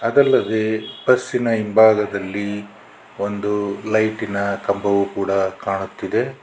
ಅದಲ್ಲದೆ ಬಸ್ಸಿನ ಹಿಂಭಾಗದಲ್ಲಿ ಒಂದು ಲೈಟಿನ ಕಂಬವೂ ಕೂಡ ಕಾಣುತ್ತಿದೆ.